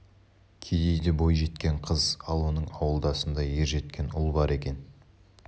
кедейде бой жеткен қыз ал оның ауылдасында ер жеткен ұл бар екен